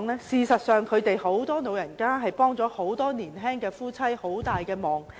事實上，很多長者確實協助年青夫婦照顧兒女。